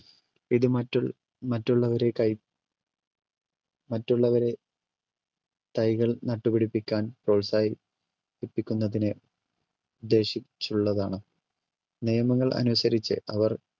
ഇത് മറ്റ് മറ്റുള്ളവരെ തൈ മറ്റുള്ളവരെ തൈകൾ നട്ടുപിടിപ്പിക്കാൻ പ്രോത്സാ~ഹിപ്പിക്കുന്നതിന് ഉദ്ദേശിച്ചുള്ളതാണ് നിയമങ്ങൾ അനുസരിച്ച് അവർ